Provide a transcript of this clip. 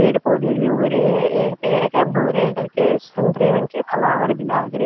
पेड़ पौधे भी उग रे हं एक पेड़ क भूरे कलर के संतरे रंग के फ्लावर भी लाग रे --